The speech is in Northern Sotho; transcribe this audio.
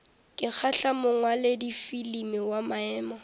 ka kgahla mongwaladifilimi wa maemo